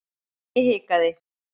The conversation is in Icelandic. Ég hikaði.